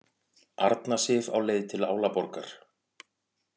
Arna Sif á leið til Álaborgar